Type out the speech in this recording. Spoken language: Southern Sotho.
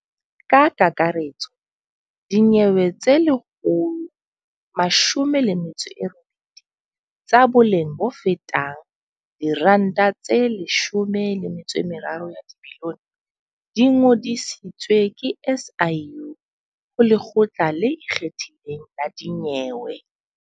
Ka kakaretso dinyewe tse 119 tsa boleng bofetang R13 bilione di ngodisitswe ke SIU ho Lekgotla le Ikgethileng la Dinyewe.